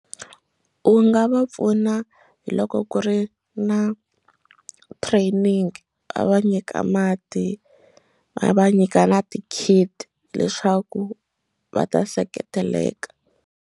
U nga va pfuna hi loko ku ri na training va va nyika mati va va nyika na ti kit leswaku va ta seketeleka.